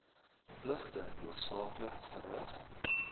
pligte hoofsaaklik verrig